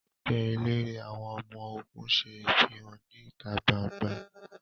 Ẹẹgbẹ elere àwọn ọmọ-ogun ṣe ifihan ni ita gbangba